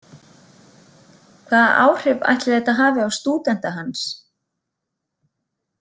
Hvaða áhrif ætli þetta hafi á stúdenta hans?